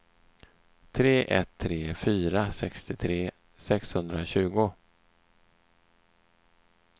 tre ett tre fyra sextiotre sexhundratjugo